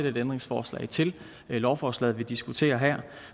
et ændringsforslag til lovforslaget vi diskuterer her